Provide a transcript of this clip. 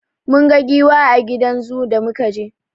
Mun ga giwa a gidan zoo da muka je.